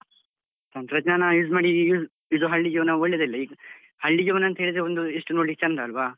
ತಂತ್ರಜ್ಞಾನ use ಮಾಡಿ ಇದು ಹಳ್ಳಿ ಜೀವನ ಒಳ್ಳೆದಿಲ್ಲ ಈಗ ಹಳ್ಳಿ ಜೀವನ ಅಂತ್ಹೇಳಿದ್ರೆ ಒಂದು ಎಷ್ಟು ನೋಡ್ಲಿಕ್ ಚಂದ ಅಲ್ವ?